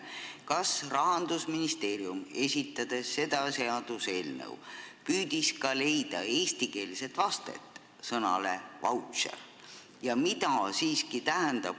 Kas Rahandusministeerium, esitades seda seaduseelnõu, püüdis ka leida eestikeelset vastet sõnale "vautšer"?